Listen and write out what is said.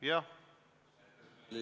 Jah!